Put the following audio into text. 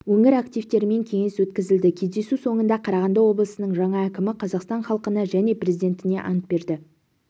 өңір активтерімен кеңес өткізілді кездесу соңында қарағанды облысының жаңа әкімі қазақстан халқына және президентіне ант берді